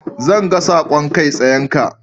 Zan ga saƙon kai tsayenka.